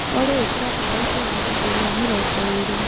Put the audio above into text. olly ikĩra tawa ũkorwo gĩcũnjĩ gia mĩrongo ĩrĩ